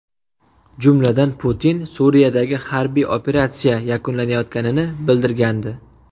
Jumladan, Putin Suriyadagi harbiy operatsiya yakunlanayotganini bildirgandi.